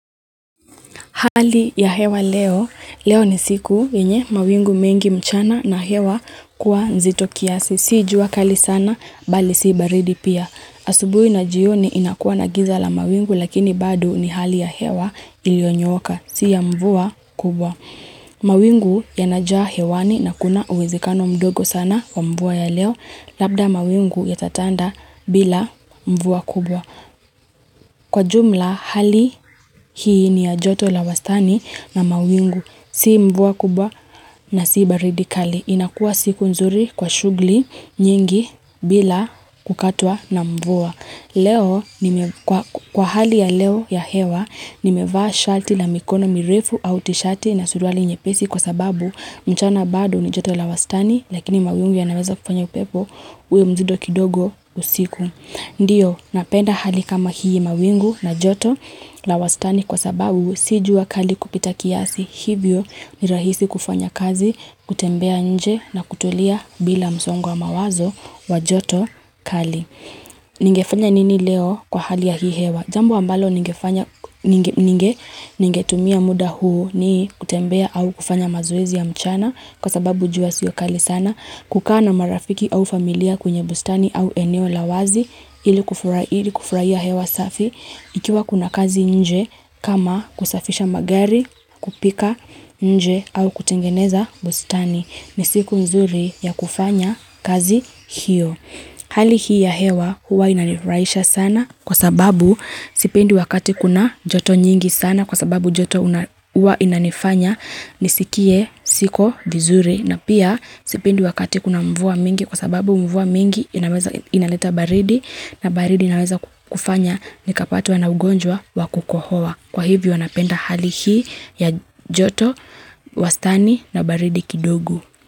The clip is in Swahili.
Hali ya hewa leo, leo ni siku yenye mawingu mengi mchana na hewa kuwa nzito kiasi. Si jua kali sana, bali si baridi pia. Asubuhi na jioni inakuwa na giza la mawingu, lakini bado ni hali ya hewa iliyonyooka, si ya mvua kubwa. Mawingu yanajaa hewani na kuna uwezekano mdogo sana wa mvua ya leo, labda mawingu yatatanda bila mvua kubwa. Kwa ujumla, hali hii ni ya joto la wastani na mawingu. Si mvua kubwa na si baridi kali. Inakuwa siku nzuri kwa shughuli nyingi bila kukatwa na mvua. Kwa hali ya leo ya hewa, nimevaa shati la mikono mirefu au tishati na suruali nyepesi kwa sababu mchana bado ni joto la wastani, lakini mawingu yanaweza kufanya upepo uwe mzito kidogo usiku. Ndiyo, napenda hali kama hii mawingu na joto la wastani kwa sababu, si jua kali kupita kiasi, hivyo ni rahisi kufanya kazi, kutembea nje na kutolia bila msongo wa mawazo wa joto kali. Ningefanya nini leo kwa hali ya hii hewa? Jambo ambalo ningefanya ningetumia muda huu, ni kutembea au kufanya mazowzi ya mchana kwa sababu, jua siyo kali sana. Kukaa na marafiki au familia kwenye bustani au eneo la wazi ili kufurahia hewa safi. Ikiwa kuna kazi nje kama kusafisha magari, kupika nje au kutengeneza bustani. Ni siku nzuri ya kufanya kazi hiyo Hali hii ya hewa huwa inanifurahisha sana kwa sababu, sipendi wakati kuna joto nyingi sana kwa sababu joto huwa inanifanya nisikie siko vizuri na pia sipendi wakati kuna mvua mingi kwa sababu mvua mingi inaleta baridi na baridi inaweza kufanya nikapatwa na ugonjwa wa kukohoa. Kwa hivyo, napenda hali hii ya joto wastani na baridi kidogo.